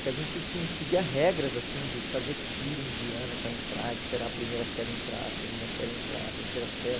que a gente, sim, seguia regras, assim, de fazer fila indiana para entrar, esperar a primeira série entrar, a segunda série entrar, a terceira série.